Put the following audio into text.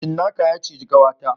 Cinnaka ya ciji kawata